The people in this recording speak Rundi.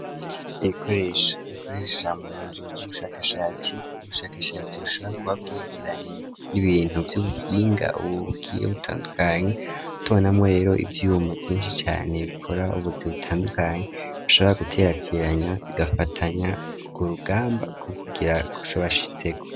Ibikoresha bakoresha mu nzu z'ubushakashatsi ,ubushakashatsi bushobora kuba bwerekeranye n'ibintu vy'ubuhinga, Ubu bugiye butandukanye, tubonamwo rero ivyuma Vyinshi cane, bikora ubuzi butandukanye ,bashabora guterateranya bigafatanya urwo rugamba ku kugira kucobashitseko.